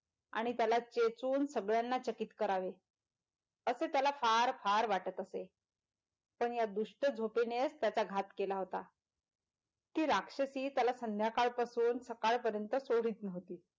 आणि त्याला चेचून सगळ्यांना चकित करावे असे त्याला फार फार वाटत असे पण या दुष्ट झोपेने च त्याचा घात केला होता कि राक्षसी त्याला संध्याकाळ पासून सकाळ पर्यँत सोडीत नव्हती.